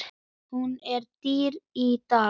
Hún er dýr í dag.